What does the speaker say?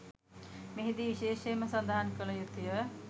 මෙහිදී විශේෂයෙන්ම සඳහන් කල යුතුය.